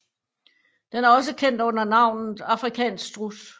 Den er også kendt under navnet afrikansk struds